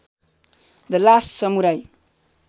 the last samurai